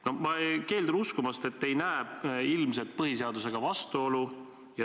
No ma keeldun uskumast, et te ei näe ilmset vastuolu põhiseadusega.